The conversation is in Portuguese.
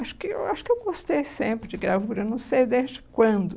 Acho que eu acho que eu gostei sempre de gravura, não sei desde quando.